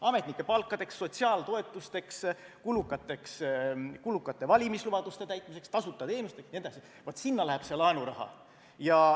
Ametnike palkadeks, sotsiaaltoetusteks, kulukate valimislubaduste täitmiseks, tasuta teenustele jne – vaat, sinna läheb see laenuraha.